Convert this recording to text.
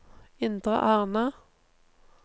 Indre Arna